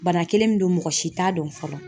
Bana kelen min don mɔgɔ si t'a dɔn fɔlɔ.